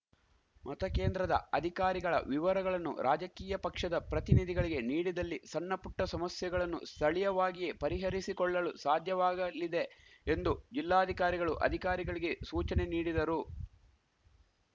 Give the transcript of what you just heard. ಮತಕೇಂದ್ರದ ಅಧಿಕಾರಿಗಳ ವಿವರಗಳನ್ನು ರಾಜಕೀಯ ಪಕ್ಷದ ಪ್ರತಿನಿಧಿಗಳಿಗೆ ನೀಡಿದಲ್ಲಿ ಸಣ್ಣಪುಟ್ಟಸಮಸ್ಯೆಗಳನ್ನು ಸ್ಥಳೀಯವಾಗಿಯೇ ಪರಿಹರಿಸಿಕೊಳ್ಳಳು ಸಾಧ್ಯವಾಗಲಿದೆ ಎಂದು ಜಿಲ್ಲಾಧಿಕಾರಿಗಳು ಅಧಿಕಾರಿಗಳಿಗೆ ಸೂಚನೆ ನೀಡಿದರು